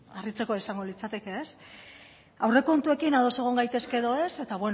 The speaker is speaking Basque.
harritzekoa izango litzateke aurrekontuekin ados egon gaitezke edo ez